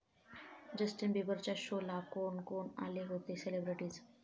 Justin बिबरच्या शोला कोण कोण आले होते सेलिब्रिटीज्?